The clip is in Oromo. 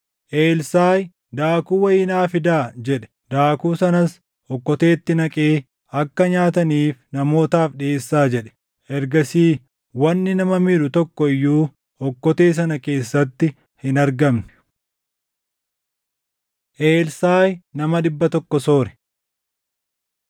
Elsaaʼi, “Daakuu wayii naa fidaa” jedhe. Daakuu sanas okkoteetti naqee, “Akka nyaataniif namootaaf dhiʼeessaa” jedhe. Ergasii wanni nama miidhu tokko iyyuu okkotee sana keessatti hin argamne. Elsaaʼi Nama Dhibba Tokko Soore